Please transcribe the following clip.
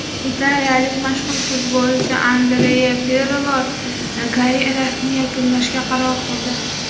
Italiyalik mashhur futbolchi Andrea Pirlo karyerasini yakunlashga qaror qildi.